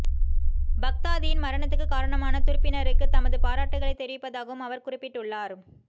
பக்தாதியின் மரணத்துக்குக் காரணமான துருப்பினருக்குத் தமது பாராட்டுகளைத் தெரிவிப்பதாகவும் அவர் குறிப்பிட்டுள்ளார்